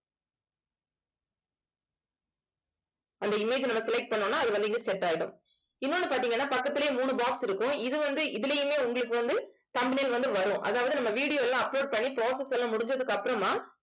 அந்த image நம்ம select பண்ணோம்னா அது வந்து set ஆயிடும் இன்னொன்னு பாத்தீங்கன்னா பக்கத்திலேயே மூணு box இருக்கும் இது வந்து இதிலேயுமே உங்களுக்கு வந்து thumbnail வந்து வரும் அதாவது நம்ம video எல்லாம் upload பண்ணி process எல்லாம் முடிஞ்சதுக்கு அப்புறமா